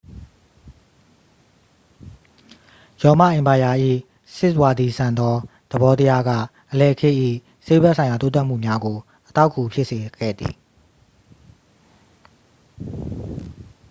ရောမအင်ပါယာ၏ စစ်ဝါဒီဆန်သော သဘောတရားက အလယ်ခေတ်၏ ဆေးဘက်ဆိုင်ရာ တိုးတက်မှုများကို အထောက်အကူဖြစ်စေခဲ့သည်